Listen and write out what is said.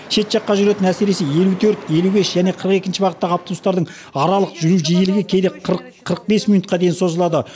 шет жаққа жүретін әсіресе елу төрт елу бес және қырық екінші бағыттағы автобустардың аралық жүру жиілігі кейде қырық қырық бес минутқа дейін созылады